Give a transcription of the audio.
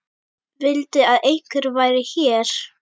Vildi að einhver væri hér.